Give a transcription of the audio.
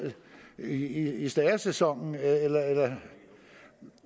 i i stæresæsonen eller